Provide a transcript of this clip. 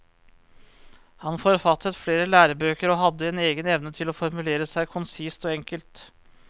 Han forfattet flere lærebøker og hadde en egen evne til å formulere seg konsist og enkelt.